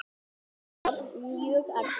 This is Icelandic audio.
Það var mjög erfitt.